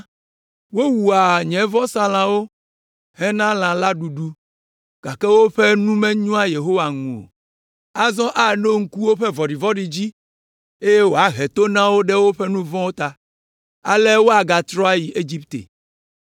Wowua nye vɔsalãwo hena lã la ɖuɖu, gake woƒe nu menyoa Yehowa ŋu o. Azɔ aɖo ŋku woƒe vɔ̃ɖivɔ̃ɖi dzi, eye wòahe to na wo ɖe woƒe nu vɔ̃ ta, ale woagatrɔ ayi Egipte.